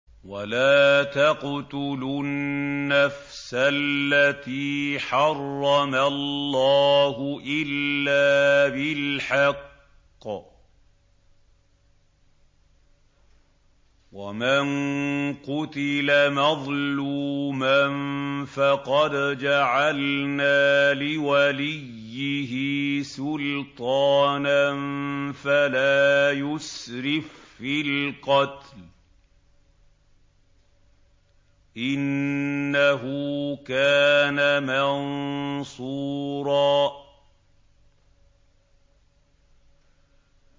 وَلَا تَقْتُلُوا النَّفْسَ الَّتِي حَرَّمَ اللَّهُ إِلَّا بِالْحَقِّ ۗ وَمَن قُتِلَ مَظْلُومًا فَقَدْ جَعَلْنَا لِوَلِيِّهِ سُلْطَانًا فَلَا يُسْرِف فِّي الْقَتْلِ ۖ إِنَّهُ كَانَ مَنصُورًا